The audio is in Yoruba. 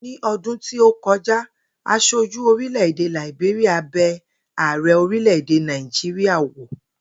Ní o̩dún tí ó ko̩já, as̩ojú orile-ede Làìbéríà be̩ ààre̩ orílè-èdè Náíjíríà wò